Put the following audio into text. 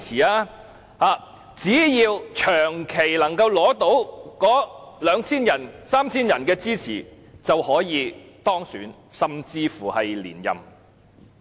他們只要長期取得兩三千人的支持，便可當選甚至是連任區議員。